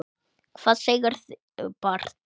Hvað segirðu barn?